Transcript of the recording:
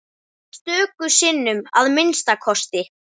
Stöku sinnum að minnsta kosti.